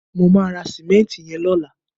mo ma ra simenti yen lola